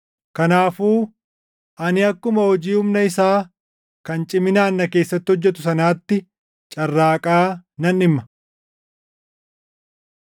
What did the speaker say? Kanaafuu ani akkuma hojii humna isaa kan ciminaan na keessatti hojjetu sanaatti carraaqaa nan dhimma.